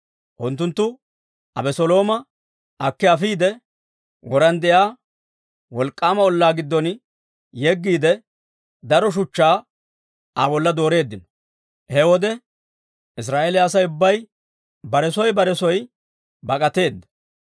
Unttunttu Abeselooma akki afiide, woran de'iyaa wolk'k'aama ollaa giddon yeggiide, daro shuchchaa Aa bolla dooreeddino. He wode Israa'eeliyaa Asay ubbay bare soo bare soo bak'ateedda.